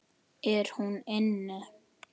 Er hún inni?